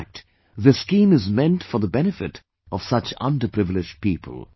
In fact this scheme is meant for the benefit of such underprivileged people